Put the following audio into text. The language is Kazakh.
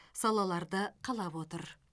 салаларды қалап отыр